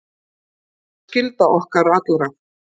Sú er skylda okkar allra.